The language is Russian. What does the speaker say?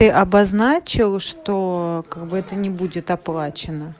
и обозначил что как бы это не будет оплачено